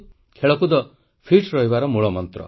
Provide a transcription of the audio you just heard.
ଖେଳକୁଦ ଫିଟ୍ ରହିବାର ମୂଳମନ୍ତ୍ର